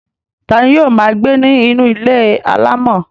ta ni yóò máa gbé ní inú ilé alámọ̀?